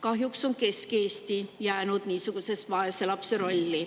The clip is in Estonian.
Kahjuks on Kesk-Eesti jäänud vaeslapse rolli.